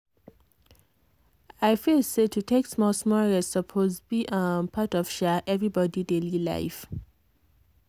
i feel say to take small-small rest suppose be um part of um everybody daily life.